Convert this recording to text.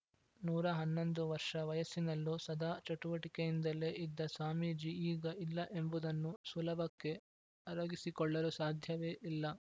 ನೂರ ಹನ್ನೊಂದು ವರ್ಷ ವಯಸ್ಸಿನಲ್ಲೂ ಸದಾ ಚಟುವಟಿಕೆಯಿಂದಲೇ ಇದ್ದ ಸ್ವಾಮೀಜಿ ಈಗ ಇಲ್ಲ ಎಂಬುದನ್ನು ಸುಲಭಕ್ಕೆ ಅರಗಿಸಿಕೊಳ್ಳಲು ಸಾಧ್ಯವೇ ಇಲ್ಲ